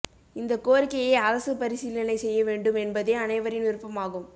இந்தக் கோரிக்கையை அரசு பரிசீலனை செய்ய வேண்டும் என்பதே அனைவரின் விருப்பமாகும்